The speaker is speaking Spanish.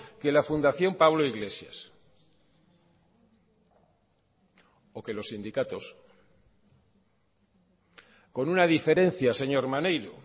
que la fundación pablo iglesias o que los sindicatos con una diferencia señor maneiro